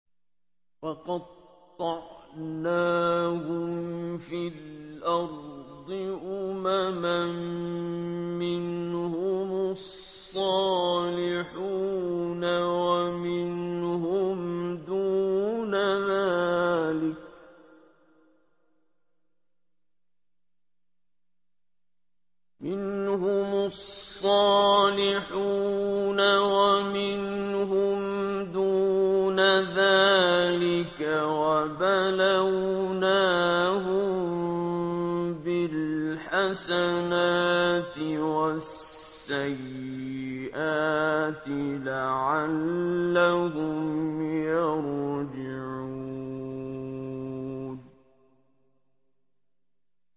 وَقَطَّعْنَاهُمْ فِي الْأَرْضِ أُمَمًا ۖ مِّنْهُمُ الصَّالِحُونَ وَمِنْهُمْ دُونَ ذَٰلِكَ ۖ وَبَلَوْنَاهُم بِالْحَسَنَاتِ وَالسَّيِّئَاتِ لَعَلَّهُمْ يَرْجِعُونَ